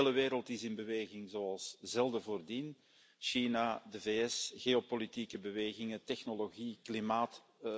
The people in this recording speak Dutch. De hele wereld is in beweging zoals zelden tevoren China, de VS, geopolitieke bewegingen, technologie, klimaat...